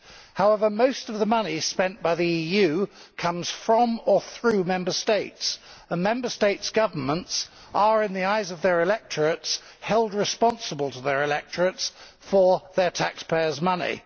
However, most of the money spent by the EU comes from or through Member States, and Member States' governments are, in the eyes of their electorates, held responsible to their electorates for their taxpayers' money.